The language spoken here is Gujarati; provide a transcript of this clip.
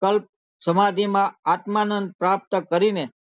કલ્પી સમાધિ માં આત્માનંદ પ્રાપ્ત કરી ને